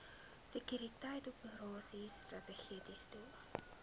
sekuriteitsoperasies strategiese doel